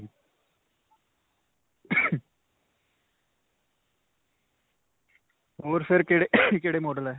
ਹੋਰ ਫੇਰ ਕਿਹੜੇ-ਕਿਹੜੇ model ਹੈ.